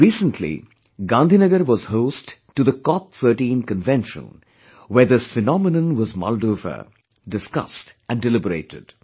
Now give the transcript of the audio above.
Recently, Gandhinagar was host to the COP 13 convention, where this phenomenon was mulled over, discussed and deliberated